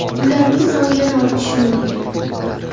Ularning soni yana ortishi mumkin.